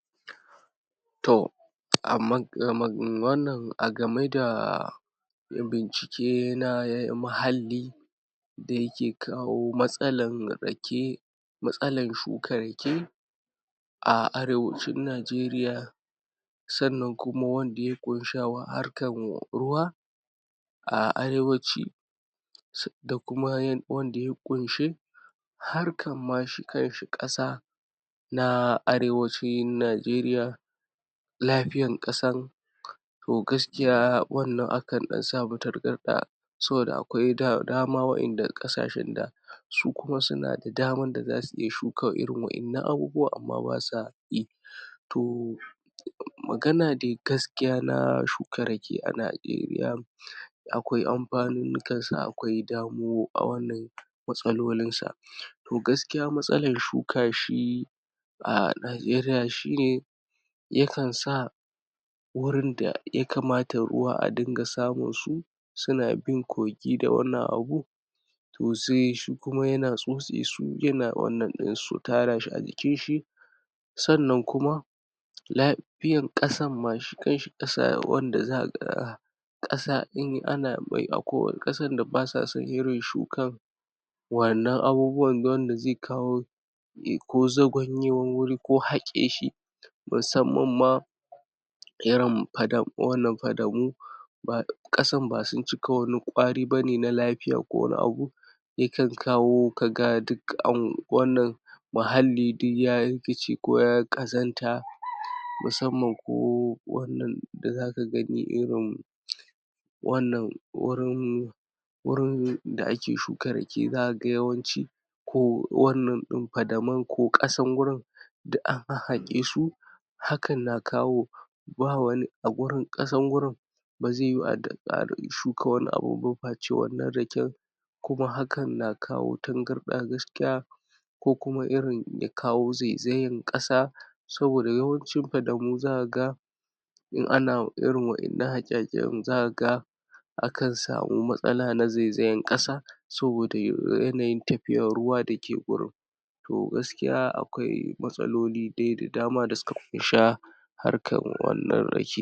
To a ma ga um wannan a game da bincike na muhalli da yake kawo matsalan rake matsalan shukan rake a arewacin Najeriya sannan kuma wanda ya ƙunsha harkan ruwa a arewacin su da kuma wanda ya ƙunshi harkan ma shi kanshi ƙasa na arewacin Najeriya lafiyan ƙasan to gaskiya wannan akan samu tangarɗa saboda akwai da dama wa'inda ƙasashen da su kuma suna da daman da za su iya shuka irin wa'innan abubuwan amma ba sa yi to magana dai gaskiya na shuka rake a Najeriya akwia amfanin nukan su akwai damo a wannan matsalolin sa to gaskiya matsalar shuka shi a Najeriya shine yakan sa wurin da ya kamata ruwa a dinga samun su suna bin kogi da wannan abu to zai shikuma yana tsotse su yana wannan abinsu tara shi a jikin shi sannan kuma lafiyan ƙasan ma shi kanshi ƙasa wanda za kaga ƙasa in ana mai akwai ƙasan da basa son irin shukan wannan abubuwan wanda zai kawo ko zagwanyewan wuri ko haƙe shi musammam ma irin fada fadamu ba ƙasan ba sun cika wani kwari ne na lafiya ko wani abu yakan kawo kaga duk an wannan muhalli duk ya rikice ko ya ƙazanta musamman ko wannan da za ka gani irin wannan wurin wurin da ake shuka rake za ka ga yawanci ko wannan ɗin fadamun ko ƙasan gurin duk an haƙe su hakan na kawo ba wani a gurin ƙasan gurin ba zai yiwu a shuka wani abu ba fashe wannan raken kuma hakan na kawo tangarɗa gaskiya ko kuma irin ya kawo zai zayan ƙasa saboda yawancin fadamu za ka ga in ana irin wannan haƙe-haƙen za ka ga a kan samu matsala na zaizayan ƙasa saboda yanayin ruwa da yake wurin to gaskiya akwai matsaloli da dama da suka ƙunsa harkan wannan rake.